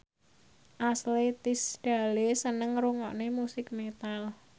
Ashley Tisdale seneng ngrungokne musik metal